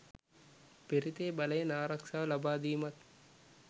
පිරිතේ බලයෙන් ආරක්‍ෂාව ලබාදීමත්